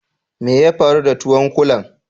Mai ya faru da tuwon kulan?